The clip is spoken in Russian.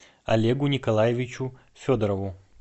олегу николаевичу федорову